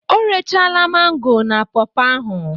O rechaala mango na pọọpọ ahụ